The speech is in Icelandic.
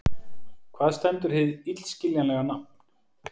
Hvað stendur hið illskiljanlega nafn